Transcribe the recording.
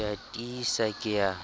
ke a tiisa ke a